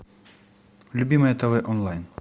любимое тв онлайн